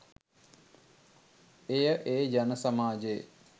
එය ඒ ජන සමාජයේ